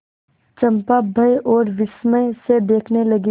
चंपा भय और विस्मय से देखने लगी